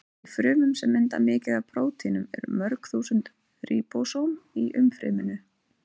Í frumum sem mynda mikið af prótínum eru mörg þúsund ríbósóm í umfryminu.